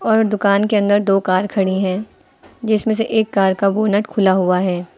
और दुकान के अंदर दो कार खड़ी हैं जिसमें से एक कार का बोनेट खुला हुआ है।